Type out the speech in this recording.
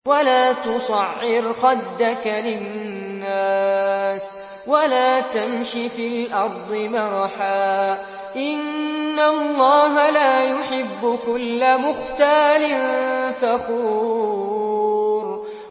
وَلَا تُصَعِّرْ خَدَّكَ لِلنَّاسِ وَلَا تَمْشِ فِي الْأَرْضِ مَرَحًا ۖ إِنَّ اللَّهَ لَا يُحِبُّ كُلَّ مُخْتَالٍ فَخُورٍ